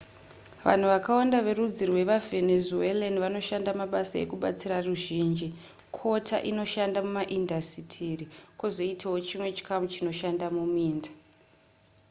vanhu vakawanda verudzi rwevavenzuelan vanoshanda mabasa ekubatsira ruzhinji kota inoshanda mumaindasitiri kwozoitawo chimwe chikamu chinoshanda muminda